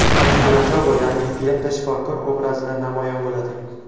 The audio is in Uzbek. Adiz Rajabov yangi filmda shifokor obrazida namoyon bo‘ladi.